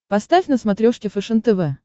поставь на смотрешке фэшен тв